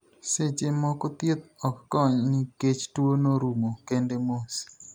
Seche moko ,thieth ok kony ni kech tuo no rumo kende mos.